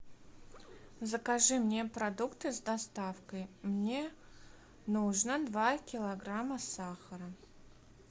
закажи мне продукты с доставкой мне нужно два килограмма сахара